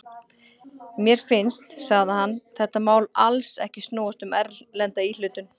Mér finnst, sagði hann, þetta mál alls ekki snúast um erlenda íhlutun.